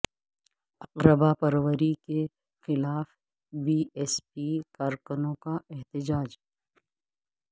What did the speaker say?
اقربا پروری کے خلاف بی ایس پی کارکنوں کا احتجاج